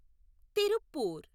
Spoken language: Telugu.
తిరుప్పూర్